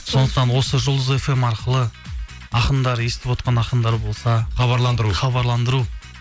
сондықтан осы жұлдыз фм арқылы ақындар естіп отырған ақындар болса хабарландыру хабарландыу